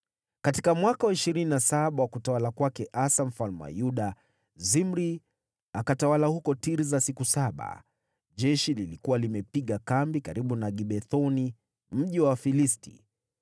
Katika mwaka wa ishirini na saba wa utawala wa Asa mfalme wa Yuda, Zimri akatawala huko Tirsa siku saba. Jeshi lilikuwa limepiga kambi karibu na Gibethoni, mji wa Wafilisti.